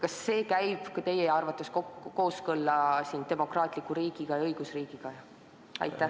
Kas see käib teie arvates kokku demokraatliku riigi ja õigusriigi põhimõtetega?